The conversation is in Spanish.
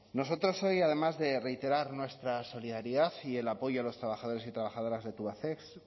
nosotros hoy además de reiterar nuestra solidaridad y el apoyo a los trabajadores y trabajadoras de tubacex